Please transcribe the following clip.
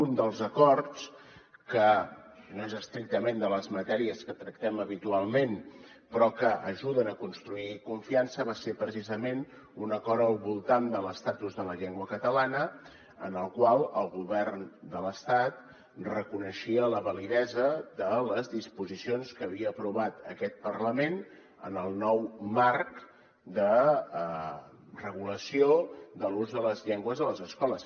un dels acords que no és estrictament de les matèries que tractem habitualment però que ajuden a construir confiança va ser precisament un acord al voltant de l’estatus de la llengua catalana en el qual el govern de l’estat reconeixia la validesa de les disposicions que havia aprovat aquest parlament en el nou marc de regulació de l’ús de les llengües a les escoles